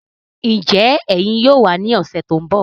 Njẹ ẹyin yóò wà ní ọsẹ tó n bọ?